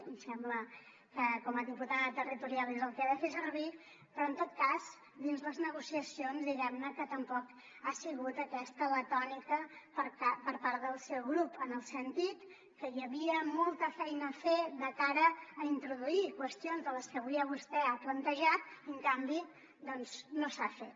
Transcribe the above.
em sembla que com a diputada territorial és el que ha de fer servir però en tot cas dins les negociacions diguem ne que tampoc ha sigut aquesta la tònica per part del seu grup en el sentit que hi havia molta feina a fer de cara a introduir qüestions de les que avui vostè ha plantejat i en canvi doncs no s’ha fet